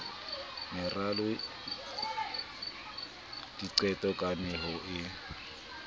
meralo diqeto le kameho ya